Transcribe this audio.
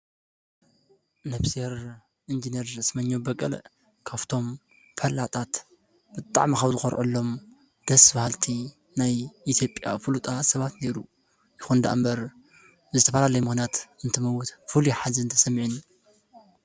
ነፍሲር እንጀኔር ስመኛ በቀል ካፍቶም ፈላጣት ብጥዕ መኻውዝኰርዑሎም ደስ ብሃልቲ ናይ ኢቲጴያ ፍሉጣ ሰባት ነይሩ ይኾንዳ እምበር ብዝተፋላለይ ሞናት እንት መዉት ፍል የኃዚ እንተሰሚዕን